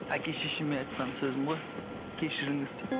әке шешеме айтқан сөзім ғой кешіріңіз деп